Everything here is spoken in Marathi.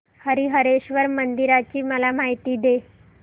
हरीहरेश्वर मंदिराची मला माहिती दे